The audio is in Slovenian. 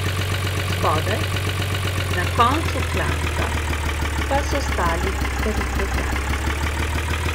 Spodaj, na koncu klanca, pa so stali teritorialci.